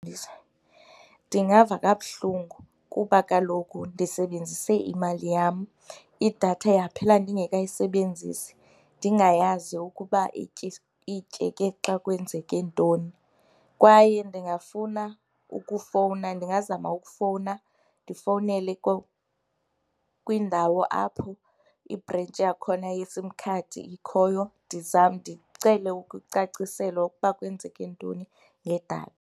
Ndingava kabuhlungu kuba kaloku ndisebenzise imali yam, idatha yaphela ndingekayisebenzisi ndingayazi ukuba ityeke xa kwenzeke ntoni. Kwaye ndingafuna ukufowuna, ndingazama ukufowuna ndifowunele kwindawo apho ibhrentshi yakhona yeSIM khadi ikhoyo ndicele ukucaciselwa ukuba kwenzeke ntoni ngedatha.